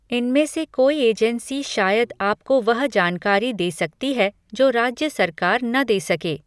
इनमें से कोई एजेंसी शायद आपको वह जानकारी दे सकती है जो राज्य सरकार न दे सके।